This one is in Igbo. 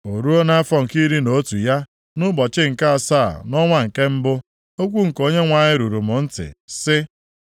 O ruo, nʼafọ nke iri na otu ya, nʼụbọchị nke asaa, nʼọnwa nke mbụ, okwu nke Onyenwe anyị ruru m ntị, sị,